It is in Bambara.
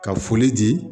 Ka foli di